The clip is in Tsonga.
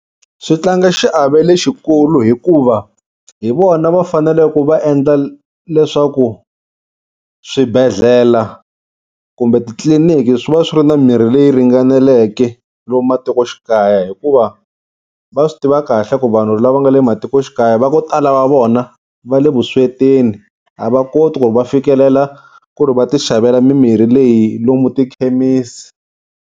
Swi tlanga xiave lexikulu hikuva hi vona va fanele ku va endla leswaku swibedhlele kumbe titliliniki swi va swi ri na mirhi leyi ringaneleke lomu matikoxikaya. Hikuva va swi tiva kahle ku vanhu lava nga le matikoxikaya va ku tala va vona va le vuswetini a va koti ku ri va fikelela ku ri va ti xavela mimirhi leyi lomu tikhemisi.